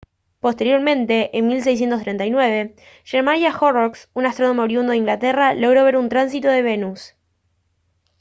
posteriormente en 1639 jeremiah horrocks un astrónomo oriundo de inglaterra logró ver un tránsito de venus